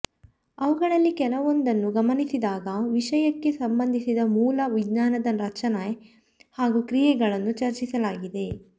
ಅವುಗಳಲ್ಲಿ ಕೆಲವೊಂದನ್ನು ಗಮನಿಸಿದಾಗ ವಿಷಯಕ್ಕೆ ಸಂಬಂಧಿಸಿದ ಮೂಲ ವಿಜ್ಞಾನದ ರಚನೆ ಹಾಗೂ ಕ್ರಿಯೆಗಳನ್ನು ಚರ್ಚಿಸಲಾಗಿದೆ